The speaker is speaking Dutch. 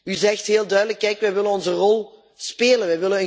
U zegt heel duidelijk Kijk, wij willen onze rol spelen.